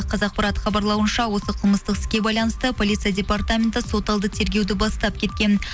қазақпарат хабарлауынша осы қылмыстық іске байланысты полиция департаменті сот алды тергеуді бастап кеткен